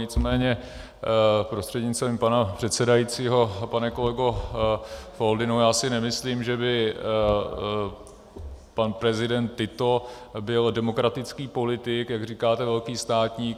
Nicméně prostřednictvím pana předsedajícího pane kolego Foldyno, já si nemyslím, že by pan prezident Tito byl demokratický politik, jak říkáte, velký státník.